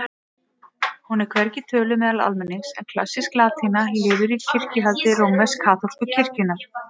Hún er hvergi töluð meðal almennings en klassísk latína lifir í kirkjuhaldi rómversk-kaþólsku kirkjunnar.